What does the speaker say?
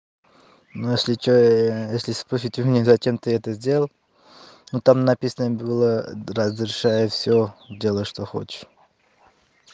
ну если что если спросить у меня зачем ты это сделал но там написано было разрешаю всё делай что хочешь